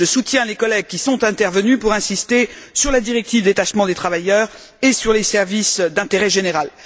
Je soutiens les collègues qui sont intervenus pour insister sur la directive détachement des travailleurs et sur les services d'intérêt général.